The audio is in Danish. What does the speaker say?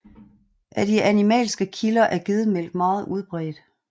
Af de animalske kilder er gedemælk meget udbredt